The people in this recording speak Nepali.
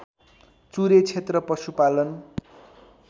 चुरे क्षेत्र पशुपालन